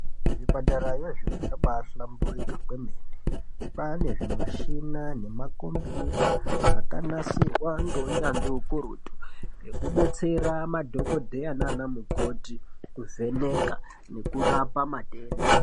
Zvipatara iyezvino zvambahlamburuka kwemene. Kwane zvimishina nemakombiyuta akanasirwa ngounyanzvi hukurutu, ekubetsera madhokodheya nanamukoti kuvheneka nekurapa matenda.